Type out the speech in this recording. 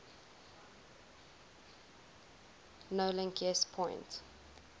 nolink yes point